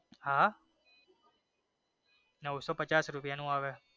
હા નવસો પચાસ રૂપિયા નું આવે.